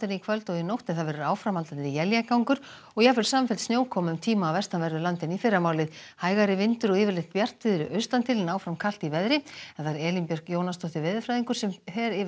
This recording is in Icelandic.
í kvöld og nótt en það verður áframhaldandi éljagangur og jafnvel samfelld snjókoma um tíma á vestanverðu landinu í fyrramálið hægari vindur og yfirleitt bjartviðri austan til en áfram kalt í veðri Elín Björk Jónasdóttir veðurfræðingur fer yfir